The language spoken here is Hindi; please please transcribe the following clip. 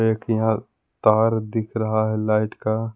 एक यहां तार दिख रहा है लाइट का।